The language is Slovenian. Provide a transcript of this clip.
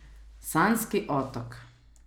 Sanjski otok.